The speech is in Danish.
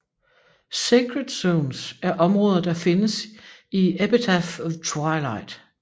Sacred Zones er områder der findes i Epitaph of Twilight